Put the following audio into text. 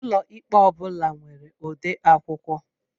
Ụlọikpe ọ bula nwere odeakwụkwọ